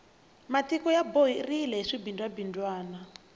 matiko ya borile hi swibindzwa bindzwana